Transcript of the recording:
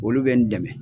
Olu bɛ n dɛmɛ